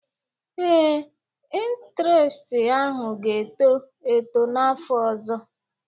Ee, intiresti ahụ ga-eto eto n'afọ ọzọ